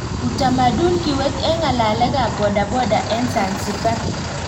Utamadun kiwet en ng'alekab boda boda en Zanzibar.